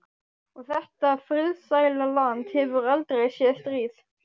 Og þetta friðsæla land hefur aldrei séð stríð.